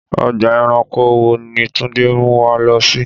Ọgbà ẹranko wo ni Túndé ń mú wa lọ sí?